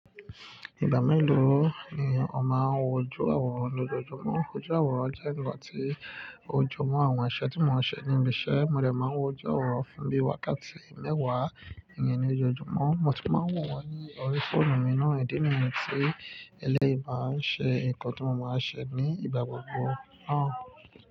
Ìgbà mélòó ni o máa ń wojú àwòrán lójoojúmọ́? Wójú àwòrán jẹ́ ǹkan tí ó jó mọ́ àwọn àṣẹ tí mo máa ń ṣe ní ibi iṣẹ́. Mo lè máa wò ojú àwòrán fún bí i wákàtí mẹ́wàá nìyẹn lójoojúmọ́. Mo sì máa ń wò wọ́n ní orí fóònù mi náà, ìdí nìyẹn tí ẹlẹ́rìí bà á ń ṣe ǹkan tí mo máa ń ṣe ní ìgbà gbogbo náà.